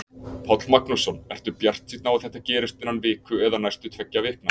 Páll Magnússon: Ertu bjartsýnn á að þetta gerist innan viku eða næstu tveggja vikna?